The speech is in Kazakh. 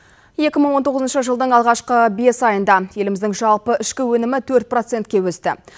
екі мың он тоғызыншы жылдың алғашқы бес айында еліміздің жалпы ішкі өнімі төрт процентке өсті